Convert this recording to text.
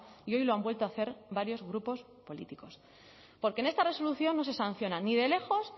y hoy lo han vuelto a hacer varios grupos políticos porque en esta resolución no se sanciona ni de lejos